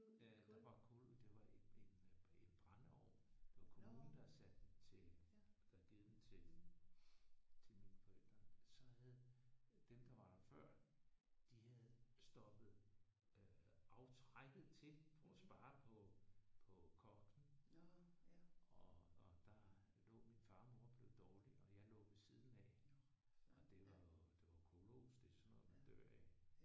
Øh der var kul det var en en en brændeovn. Det var kommunen der havde sat den til der havde givet den til til mine forældre. Så havde dem der var der før de havde stoppet øh aftrækket til for at spare på på koksen og og der lå min far og mor og blev dårlige og jeg lå ved siden af. Det er kulos. Det er sådan noget man dør af